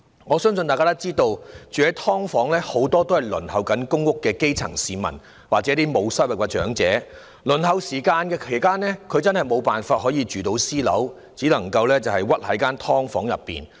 我相信大家都知道，居於"劏房"的人很多是正在輪候公屋的基層市民，或沒有收入的長者，輪候期間真的無法入住私樓，只能屈居於"劏房"。